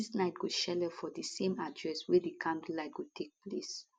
artistes night go shele for di same address wey di candlelight go take place